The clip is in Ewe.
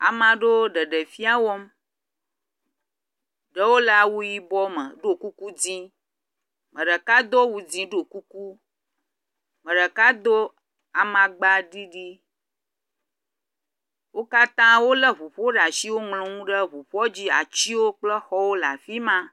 Amea ɖewo ɖeɖefia wɔm, ɖewo le awu yibɔ me, ɖɔ kuku dzɛ̃. Ame ɖeka do awu dzɛ̃, ɖo kuku, ame ɖeka do amagba ɖiɖi. Wo katã wolé ŋuƒowo ɖe asi, woŋlɔ nu ɖe ŋuƒoa dzi, atiwo kple xɔwo le afi ma.